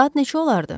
Saat neçə olardı?